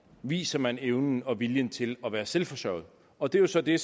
viser man evnen og viljen til at være selvforsørgende og det er jo så det